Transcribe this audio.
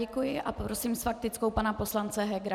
Děkuji a prosím s faktickou pana poslance Hegera.